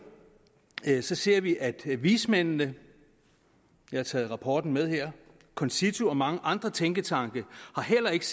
ser ser vi at vismændene jeg har taget rapporten med her concito og mange andre tænketanke heller ikke